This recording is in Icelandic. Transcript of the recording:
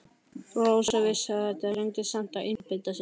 Rósa vissi þetta en reyndi samt að einbeita sér.